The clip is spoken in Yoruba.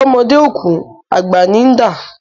Bọ́mọdé ò kú, àgbà ní ń dà.